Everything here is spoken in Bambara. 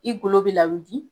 I golo be lawudi